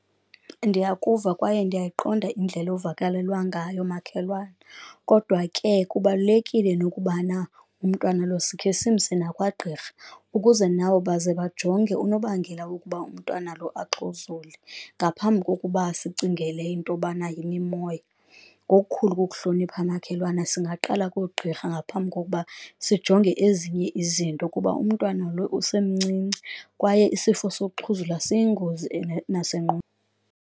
Ndiyakuva kwaye ndiyayiqonda indlela ovakalelwa ngayo makhelwane, kodwa ke kubalulekile nokubana umntwana lo sikhe simse nakwagqirha ukuze nabo baze bajonge unobangela wokuba umntwana lo axhuzule, ngaphambi kokuba sicingele into yobana yimimoya. Ngokukhulu ukukuhlonipha makhelwane singaqala koogqirha ngaphambi kokuba sijonge ezinye izinto kuba umntwana lo usemncinci kwaye isifo sokuxhuzula siyingozi